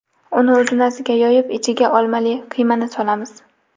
Uni uzunasiga yoyib, ichiga olmali qiymani solamiz.